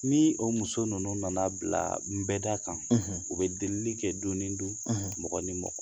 Ni o muso ninnu nana bila n bɛɛ da kan, u bɛ deeli kɛ don ni don, mɔgɔ ni mɔgɔ.